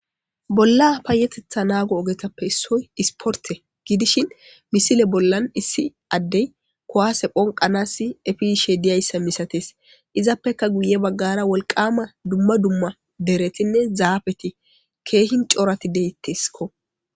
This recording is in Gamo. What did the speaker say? Bolla payeteteha naago ogetappe issoy isporte gidishin misile bollan issi addey kowaase phonqanas efiiishe diyayssa misatees izappeka guye baggara wolqama dumma dumma deretinne zaafeti keehin coorati deettesikko